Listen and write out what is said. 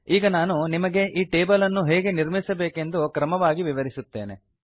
ಈಗ ನಾನು ನಿಮಗೆ ಈ ಟೇಬಲ್ ಅನ್ನು ಹೇಗೆ ನಿರ್ಮಿಸಬೇಕೆಂದು ಕ್ರಮವಾಗಿ ವಿವರಿಸುತ್ತೇನೆ